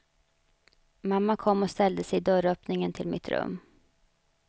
Mamma kom och ställde sig i dörröppningen till mitt rum.